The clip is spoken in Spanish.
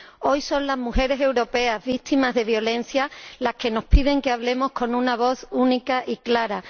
Hoy son las mujeres europeas víctimas de violencia las que nos piden que hablemos con una voz única y clara.